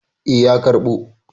Eh, ya karɓo.